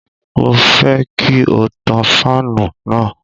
Mo fẹ́ kí o tan fáànù náà.